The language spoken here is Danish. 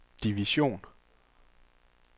division